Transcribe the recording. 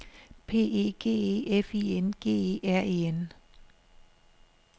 P E G E F I N G E R E N